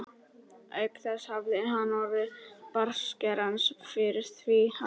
Auk þess hafði hann orð bartskerans fyrir því að